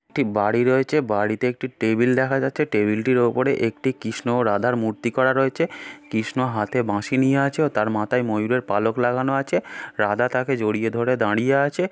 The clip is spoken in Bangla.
একটি বাড়ি রয়েছে বাড়িতে একটি টেবিল দেখা যাচ্ছে টেবিল টির উপরে একটি কৃষ্ণ ও রাধার মূর্তি করা রয়েছে কৃষ্ণ হাতে বাঁশি নিয়ে আছে ও তার মাথায় ময়ূরের পালক লাগানো আছে রাধা তাকে জড়িয়ে ধরে দাঁড়িয়ে আছে।